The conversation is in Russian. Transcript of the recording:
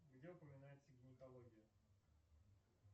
где упоминается гинекология